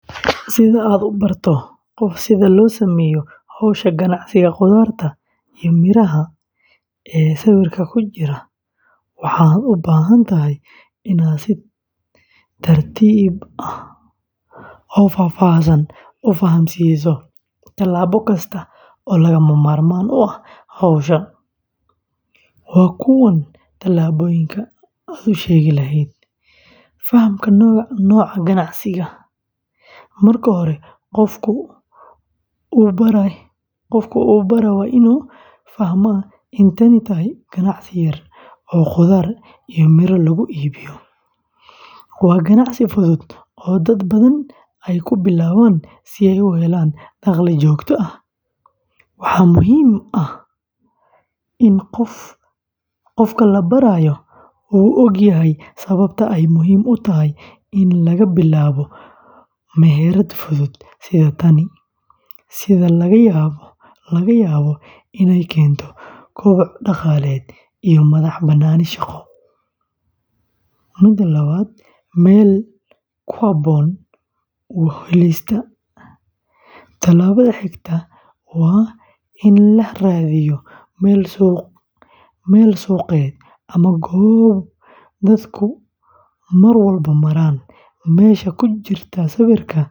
Si aad u barato qof sida loo sameeyo hawsha ganacsiga khudaarta iyo miraha ee sawirka ku jira, waxaad u baahan tahay inaad si tartiib ah oo faahfaahsan u fahamsiiso talaabo kasta oo lagama maarmaan u ah hawsha. Waa kuwan talaabooyinka aad u sheegi lahayd: Fahamka Nooca Ganacsiga: Marka hore qofka u baraya waa inuu fahmaa in tani tahay ganacsi yar oo khudaar iyo miro lagu iibiyo. Waa ganacsi fudud oo dad badan ay ku bilaabaan si ay u helaan dakhli joogto ah. Waxaa muhiim ah in qofka la barayo uu ogyahay sababta ay muhiim u tahay in laga bilaabo meherad fudud sida tan, sida laga yaabo inay keento koboc dhaqaale iyo madax-bannaani shaqo. Meel ku habboon u helista: Tallaabada xigta waa in la raadiyo meel suuqeed ama goob dadku mar walba maraan. Meesha ku jirta sawirka.